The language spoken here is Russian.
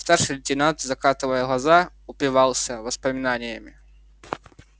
старший лейтенант закатывая глаза упивался воспоминаниями